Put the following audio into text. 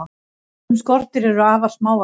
sum skordýr eru afar smávaxin